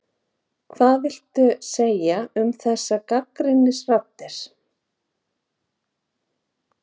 Hvað viltu segja um þessar gagnrýnisraddir?